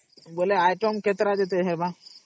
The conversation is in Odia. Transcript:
ବୋଇଲେ item କେତେଟା ହବ ?